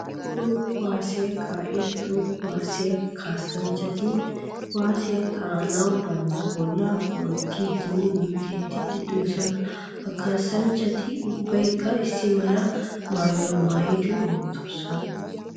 Toho kuwasiyaa kaa'iya toho kuwasiya kaassanchchati kuwasiya kaa'anawu bantta bolla ho'ettidinne minttettiiddi de'osonna. Ha kaassanchchati ubbaykka issi mala maayuwaa maayidi ootyosona.